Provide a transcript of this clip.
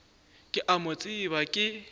ke a mo tseba ke